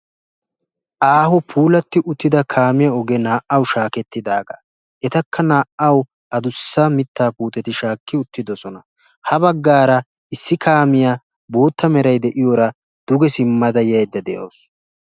aaho puulati uttida kaamiyaa ogee naa''aw shakketidaaga, etakka naa''aw addussa mitta puutetti shaakki uttidoosona. ha baggaara issi kaamiyaa boota meray de'iyoora ha simmada yaydda de'awus.